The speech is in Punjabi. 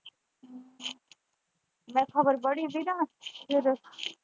ਮੈਂ ਖਬਰ ਪੜ੍ਹੀ ਹੀ ਗੀ ਨਾ ਫਿਰ।